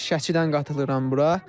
Şəkidən qatılıram bura.